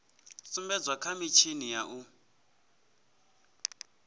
sumbedzwa kha mitshini ya u